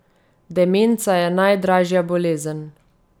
Demenca je najdražja bolezen.